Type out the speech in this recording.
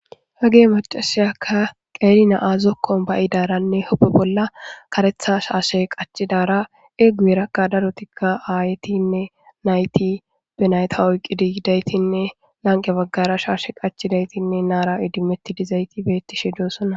Hage macashiyakka qeri na'a zokon baidaranne hu'enen karetha shshe qacidaranne guyeraka daroti ayeti nayita oyikiditinne lanqe baggara shashe qachidati betishe destes